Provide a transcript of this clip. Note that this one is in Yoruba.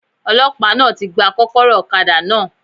Ọlọ́pàá náà ti gba kókóró òkadá náà